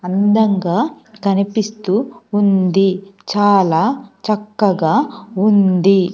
అందంగా కనిపిస్తూ ఉంది చాలా చక్కగా ఉంది.